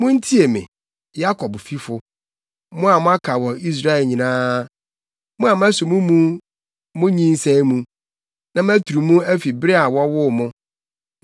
“Muntie me, Yakobfifo, mo a moaka wɔ Israelfi nyinaa, mo a maso mo mu fi mo nyinsɛn mu, na maturu mo afi bere a wɔwoo mo.